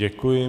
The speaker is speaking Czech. Děkuji.